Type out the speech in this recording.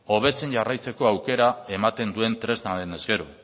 hobetzen jarraitzeko aukera ematen duen tresna denez gero